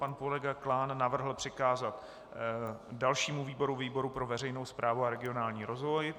Pan kolega Klán navrhl přikázat dalšímu výboru - výboru pro veřejnou správu a regionální rozvoj.